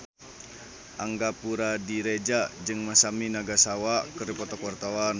Angga Puradiredja jeung Masami Nagasawa keur dipoto ku wartawan